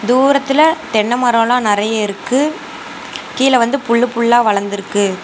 தூரத்துல தென்ன மரோலா நறையா இருக்கு கீழ வந்து புல்லு புல்லா வளந்துருக்கு.